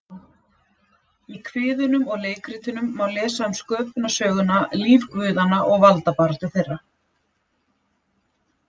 Í kviðunum og leikritunum má lesa um sköpunarsöguna, líf guðanna og valdabaráttu þeirra.